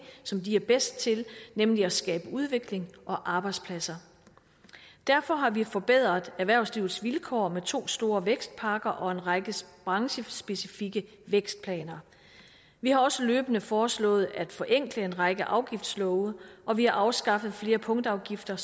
som de er bedst til nemlig at skabe udvikling og arbejdspladser derfor har vi forbedret erhvervslivets vilkår med to store vækstpakker og en række branchespecifikke vækstplaner vi har også løbende foreslået at forenkle en række afgiftslove og vi har afskaffet flere punktafgifter